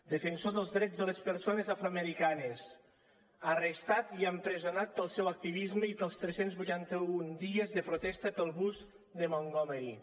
defensor dels drets de les persones afroamericanes arrestat i empresonat pel seu activisme i pels tres cents i vuitanta un dies de protesta pel bus de montgomery